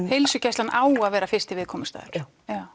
heilsugæslan á að vera fyrsti viðkomustaður já